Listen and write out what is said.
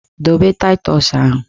Dobe taịtọs ahụ!